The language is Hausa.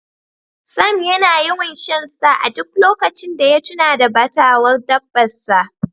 Sam yana yawan Shan star a duk lokacin da ya tuna da batawar dabbar sa.